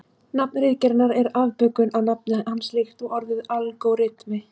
Nafn ritgerðarinnar er afbökun á nafni hans líkt og orðið algóritmi.